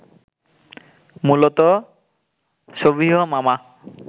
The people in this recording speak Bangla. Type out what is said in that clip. মূলত সবিহ মামা